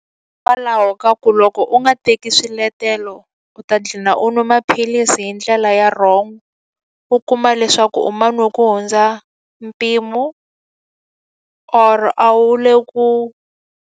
Hikwalaho ka ku loko u nga teki swiletelo, u ta dlina u nwa maphilisi hi ndlela ya wrong. U kuma leswaku u man'we ku hundza mpimo or a wu le ku.